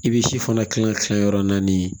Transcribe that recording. I bɛ si fana dilan tilan yɔrɔ naani